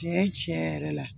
Tiɲɛ tiɲɛ yɛrɛ yɛrɛ la